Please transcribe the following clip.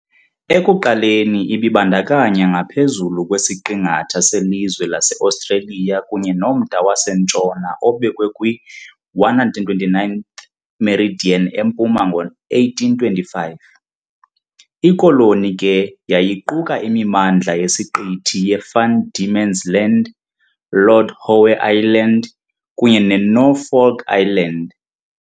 Ekuqaleni ibibandakanya ngaphezulu kwesiqingatha selizwe laseOstreliya kunye nomda wasentshona obekwe kwi -129th meridian empuma ngo-1825. Ikoloni ke yayiquka imimandla yesiqithi yeVan Diemen's Land, Lord Howe Island, kunye neNorfolk Island .